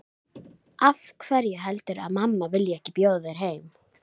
Ég einbeiti mér að útsprunginni rós.